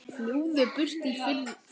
Fljúgðu burt í friði.